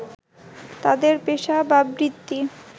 তাদের পেশা বা বৃত্তি